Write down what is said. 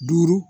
Duuru